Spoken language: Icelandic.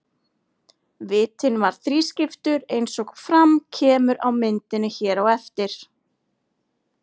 Vitinn var þrískiptur eins og fram kemur á myndinni hér á eftir.